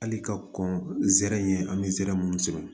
Hali ka kɔn zɛrɛn an bɛ zɛrɛ minnu sɔrɔ